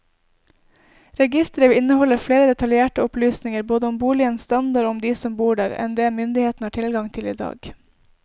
Registeret vil inneholde flere detaljerte opplysninger både om boligenes standard og om de som bor der enn det myndighetene har tilgang til i dag.